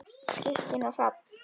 Kristín og Hrafn.